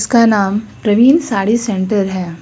का नाम प्रवीन साड़ी सेंटर है।